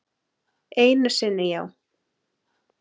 Einu sinni já.